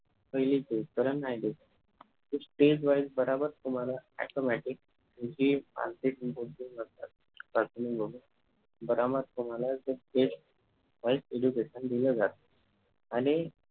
पहिली stage पर्यंत नाही देऊ शकत stage wise बराबर तुम्हाला automatic बराबर तुम्हाला stage wise education दिल जात आणि